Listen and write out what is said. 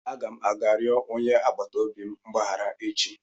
Aga m aga rịọ onye agbata obi m mgbaghara echi